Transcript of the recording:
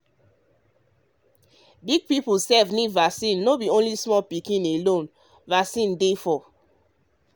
um big people sef need vaccine no be small pikin um alone vaccine dey for.